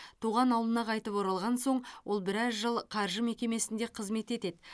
туған ауылына қайтып оралған соң ол біраз жыл қаржы мекемесінде қызмет етеді